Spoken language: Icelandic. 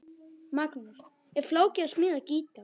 Magnús: Er flókið að smíða gítar?